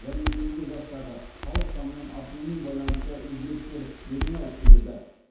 және егде жастағы халық санының артуымен байланысты өзгерістер белең алып келеді